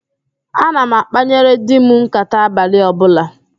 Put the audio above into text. Ana m akpanyere di m nkàtá abalị ọbụla